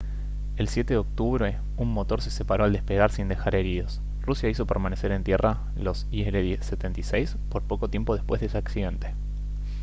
el 7 de octubre un motor se separó al despegar sin dejar heridos rusia hizo permanecer en tierra los il-76 por poco tiempo después de ese accidente